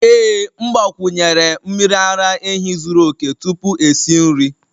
Ee m gbakwunyere'm miri ara ehi zuru oke tupu esi nri